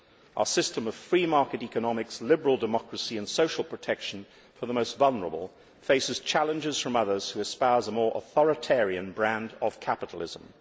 Our system of free market economics, liberal democracy and social protection for the most vulnerable faces challenges from others who espouse a more authoritarian brand of capitalism.